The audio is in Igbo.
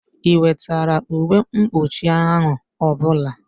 Ị wetara uwe mkpụchi ahụ ọbụla?